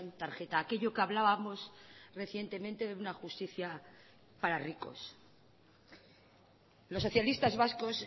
tarjeta aquello que hablábamos recientemente de una justicia para ricos los socialistas vascos